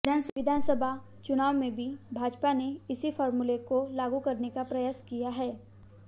विधानसभा चुनाव में भी भाजपा ने इसी फॉर्मूले को लागू करने का प्रयास किया है